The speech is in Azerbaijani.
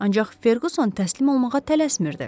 Ancaq Ferquson təslim olmağa tələsmirdi.